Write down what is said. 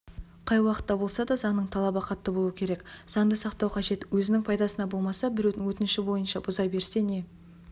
қай уақытта болса да заңның талабы қатты болуы керек заңды сақтау қажет өзінің пайдасына болмаса біреудің өтініші бойынша бұза берсе не